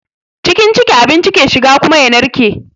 Cikin ciki abinci ke shiga kuma ya narke.